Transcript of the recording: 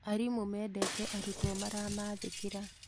Arimũ mendete arutwo maramathĩkĩra